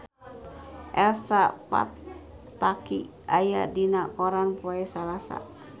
Elsa Pataky aya dina koran poe Salasa